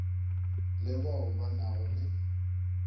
le bao ba nago le